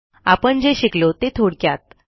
आपण जे शिकलो ते थोडक्यात